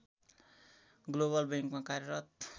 global बैंकमा कार्यरत